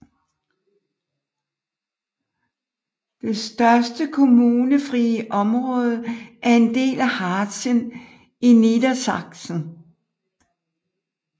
Det største kommunefrie område er en del af Harzen i Niedersachsen